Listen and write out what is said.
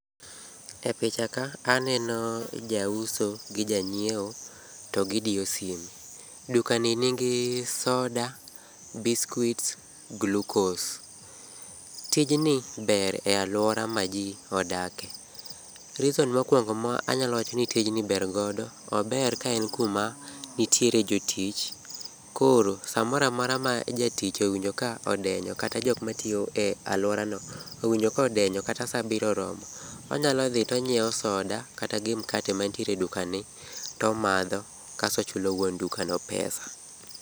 E picha ka aneno jauso to gi jang'iewo to gidiyo sime. Dukani nigi soda, biskuits, glukos. Tijni ber e alwora ma ji odakie. reason mokuongo ma anyalo wacho ni tijni ber godo, ober ka en kuma nitiere jotich. Koro samoro amora ma jatich owinjo ka odenyo, kata jok matiyo e aluorano owinjo ka odenyo, kata sa abiriyo oromo, onyalo dhi tonyiewo soda kata gi mkate mantiere e dukani tomadho kaso ochulo wuon dukano pesa.